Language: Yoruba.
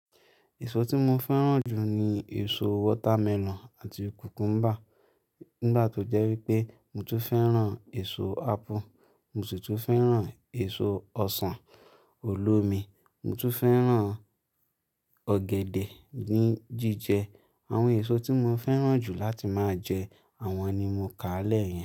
Èso tí mo fẹ́ràn jù ni èso watermelon àti cucumber. Nígbà tó jẹ́ wípé mo tún fẹ́ràn èso apple, mo sì tún fẹ́ràn èso ọsàn, olómi, mo tún fẹ́ràn ọ̀gẹ̀dẹ̀ ní jíjẹ. Àwọn èso tí mo fẹ́ràn jù láti máa jẹ àwọn ni mo kàálẹ̀ yìí.